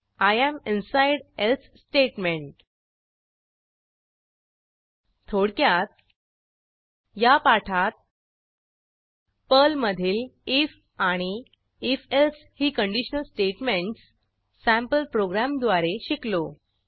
I am inside else statement थोडक्यात या पाठात पर्लमधील आयएफ आणि if एल्से ही कंडिशनल स्टेटमेंटस सँपल प्रोग्रॅमद्वारे शिकलो